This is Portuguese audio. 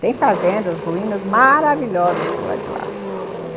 Tem fazendas, ruínas maravilhosas por lá de lá, hum...